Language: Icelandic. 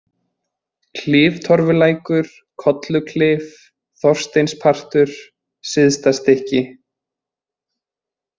Kliftorfulækur, Kolluklif, Þorsteinspartur, Syðstastykki